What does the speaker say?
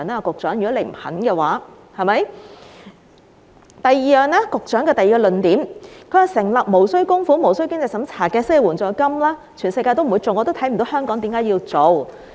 局長的第二個論點是，成立無須供款無須經濟審查的失業援助金，全世界不會做，他亦看不到為甚麼香港要做。